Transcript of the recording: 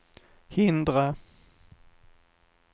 hindra